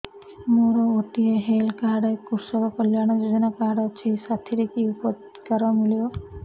ମୋର ଗୋଟିଏ health card କୃଷକ କଲ୍ୟାଣ ଯୋଜନା କାର୍ଡ ଅଛି ସାଥିରେ କି ଉପକାର ମିଳିବ